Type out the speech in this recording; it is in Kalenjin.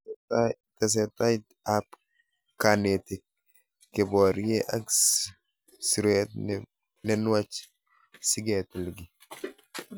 Tesetai ab kanetik , keporie ak sirut ne nuach si ketil kiy